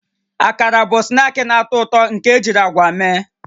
Akara bụ snaakị na-atọ ụtọ nke ejiri agwa mee